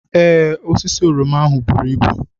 Ee, osisi oroma ahụ buru ibu.